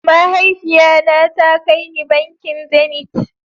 Mahaifiya na ta kar ni bankin "zenith".